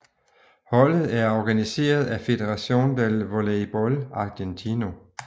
Holdet er organiseret af Federación del Voleibol Argentino